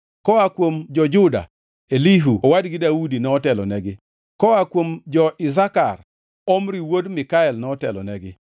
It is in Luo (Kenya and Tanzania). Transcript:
koa kuom jo-Juda: Elihu owadgi Daudi notelonegi; koa kuom jo-Isakar: Omri wuod Mikael notelonegi;